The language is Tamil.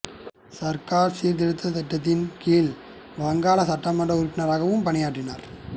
சர்க்கார் சீர்திருத்த திட்டத்தின் கீழ் வங்காள சட்டமன்ற உறுப்பினராகவும் பணியாற்றினார்